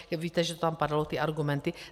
Víte, že tam padaly ty argumenty.